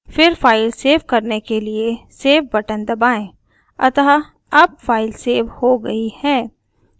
फिर file save करने के लिए save बटन दबाएँ अतः अब फाइल सेव हो गई है